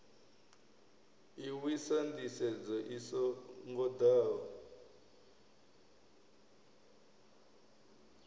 lwisa nḓisedzo i so ngoḓaho